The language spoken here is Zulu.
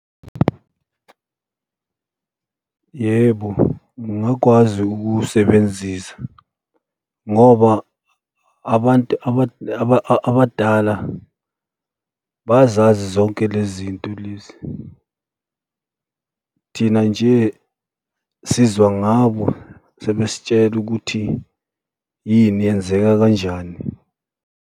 Yebo, ngingakwazi ukuwusebenzisa ngoba abantu abadala bayazazi zonke le zinto lezi. Thina nje sizwa ngabo sebesitshela ukuthi yini yenzeka kanjani.